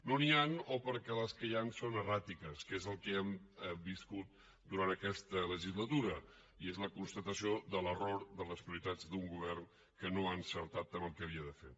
no n’hi han o perquè les que hi han són erràtiques que és el que hem viscut durant aquesta legislatura i és la constatació de l’error de les prioritats d’un govern que no ha encertat amb el que havia de fer